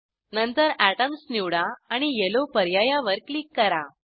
नंतर एटॉम्स निवडा आणि येलो पर्यायावर क्लिक करा